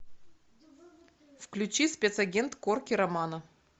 включи спецагент корки романо